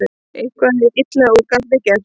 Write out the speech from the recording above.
Eitthvað er illa úr garði gert